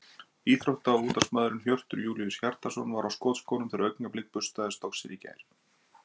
Íþrótta- og útvarpsmaðurinn Hjörtur Júlíus Hjartarson var á skotskónum þegar Augnablik burstaði Stokkseyri í gær.